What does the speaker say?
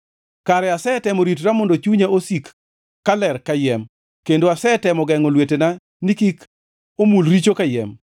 Kare asetemo ritora mondo chunya osik kaler kayiem, kendo asetemo gengʼo lwetena ni kik omul richo kayiem.